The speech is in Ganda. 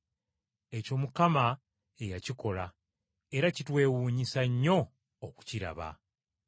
Ekyo Mukama ye yakikola era kitwewuunyisa nnyo okukiraba.’ ”